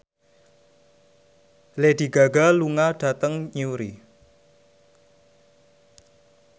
Lady Gaga lunga dhateng Newry